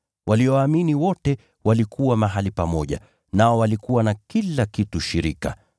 Walioamini wote walikuwa mahali pamoja, nao walikuwa na kila kitu shirika.